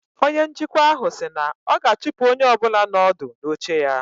Onye njikwa ahụ si na ọ ga-achụpụ onye ọ bụla nọ ọdụ n'oche ya